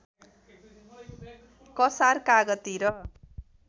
कसार कागती र